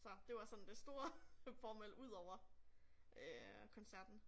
Så det var sådan det store formål udover øh koncerten